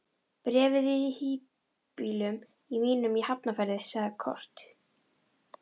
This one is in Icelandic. Bréfið er í híbýlum mínum í Hafnarfirði, sagði Kort.